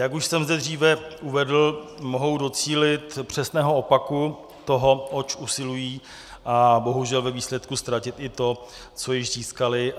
Jak už jsem zde dříve uvedl, mohou docílit přesného opaku toho, oč usilují, a bohužel ve výsledku ztratit i to, co již získali.